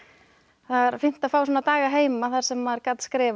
það er fínt að fá svona daga heima þar sem maður gat skrifað